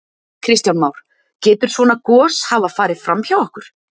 Kristján Már: Getur svona gos hafa farið fram hjá okkur?